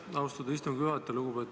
Aitäh, austatud istungi juhataja!